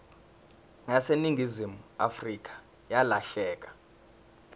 yaseningizimu afrika yalahleka